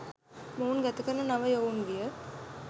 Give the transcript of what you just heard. මොවුන් ගත කරන නව යොවුන් විය